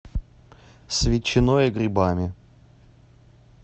с ветчиной и грибами